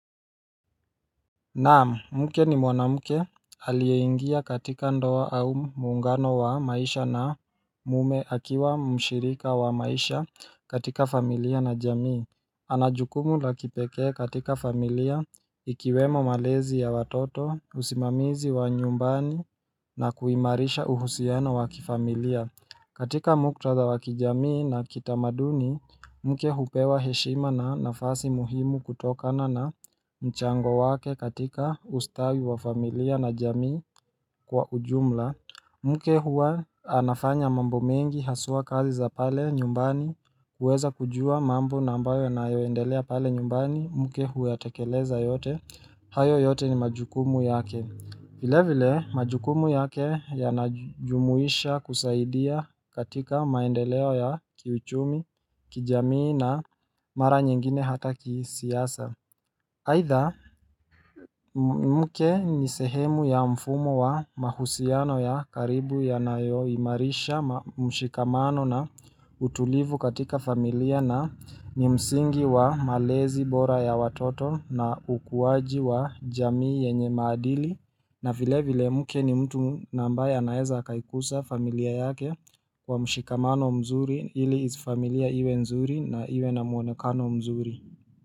Naam, mke ni mwanamke aliyeingia katika ndoa au muungano wa maisha na mume akiwa mshirika wa maisha katika familia na jamii anajukumu lakipekee katika familia ikiwemo malezi ya watoto usimamizi wa nyumbani na kuimarisha uhusiano waki familia katika muktadha wakijamii na kitamaduni, mke hupewa heshima na nafasi muhimu kutokana na mchango wake katika ustawi wa familia na jamii kwa ujumla. Mke huwa anafanya mambo mengi haswa kazi za pale nyumbani kuweza kujua mambo na ambayo yanayoendelea pale nyumbani, mke huyatekeleza yote, hayo yote ni majukumu yake. Vile vile majukumu yake ya najumuisha kusaidia katika maendeleo ya kiuchumi, kijamii na mara nyengine hata kisiasa. Haitha mke ni sehemu ya mfumo wa mahusiano ya karibu ya nayo imarisha mshikamano na utulivu katika familia na ni msingi wa malezi bora ya watoto na ukuwaji wa jamii yenye maadili na vile vile mke ni mtu na ambaye anaeza akaikusa familia yake kwa mshikamano mzuri ili is familia iwe nzuri na iwe na mwonekano mzuri.